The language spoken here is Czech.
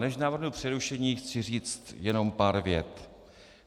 Než navrhnu přerušení, chci říct jenom pár vět.